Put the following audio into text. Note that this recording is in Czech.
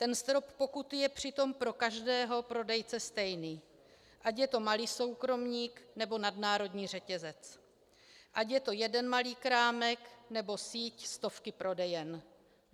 Ten strop pokuty je přitom pro každého prodejce stejný, ať je to malý soukromník, nebo nadnárodní řetězec, ať je to jeden malý krámek, nebo síť stovky prodejen.